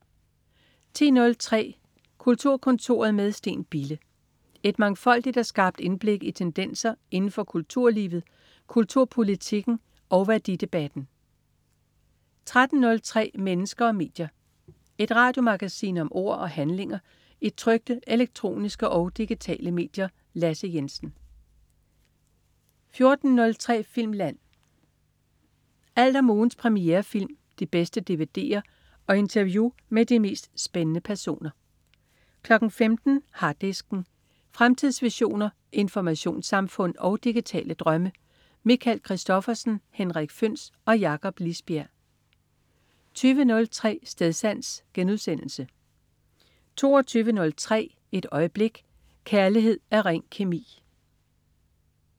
10.03 Kulturkontoret med Steen Bille. Et mangfoldigt og skarpt indblik i tendenser inden for kulturlivet, kulturpolitikken og værdidebatten 13.03 Mennesker og medier. Et radiomagasin om ord og handlinger i trykte, elektroniske og digitale medier. Lasse Jensen 14.03 Filmland. Alt om ugens premierefilm, de bedste dvd'er og interview med de mest spændende personer 15.00 Harddisken. Fremtidsvisioner, informationssamfund og digitale drømme. Michael Christophersen, Henrik Føhns og Jakob Lisbjerg 20.03 Stedsans* 22.03 Et øjeblik. Kærlighed er ren kemi!